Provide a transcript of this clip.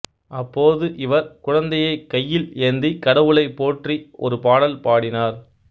அப்போது இவர் குழந்தையைக் கையில் ஏந்திக் கடவுளைப் போற்றி ஒரு பாடல் படினார்